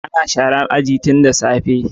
Ana sharar aji tun da safe.